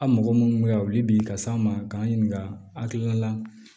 A' mɔgɔ munnu bɛ ka wuli bi ka s'an ma k'an ɲininka an hakilina la